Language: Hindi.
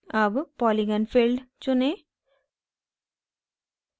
अब polygon filled चुनें